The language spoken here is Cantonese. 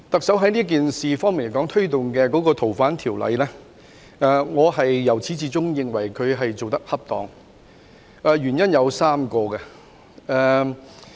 就特首推動修訂《逃犯條例》的工作，我由始至終認為她做得恰當，原因有3個。